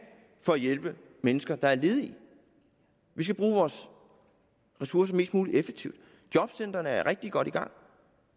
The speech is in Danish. for at hjælpe mennesker der er ledige vi skal bruge vores ressourcer mest mulig effektivt jobcentrene er rigtig godt i gang